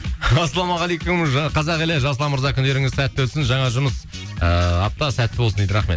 ассалаумағалейкум қазақ елі жасұлан мырза күндеріңіз сәтті өтсін жаңа жұмыс ыыы апта сәтті болсын дейді рахмет